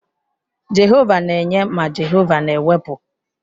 Jehova na-enye ma Jehova na-ewepụ.